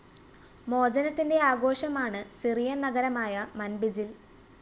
മോചനത്തിന്റെ ആഘോഷമാണ് സിറിയന്‍ നഗരമായ മന്‍ബിജില്‍